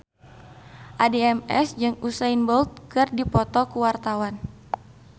Addie MS jeung Usain Bolt keur dipoto ku wartawan